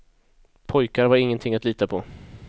Pojkar var ingenting att lita på.